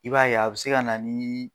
I b'a ye, a be se ka na ni